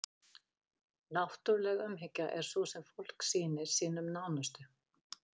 náttúruleg umhyggja er sú sem fólk sýnir sínum nánustu